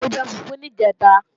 Mo jẹ fùfú níjẹ̀ta